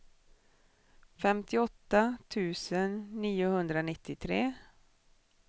femtioåtta tusen niohundranittiotre